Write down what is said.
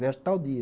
Viajo tal dia.